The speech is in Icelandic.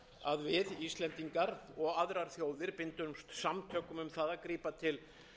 að við íslendingar og aðrar þjóðir bindumst samtökum um að grípa til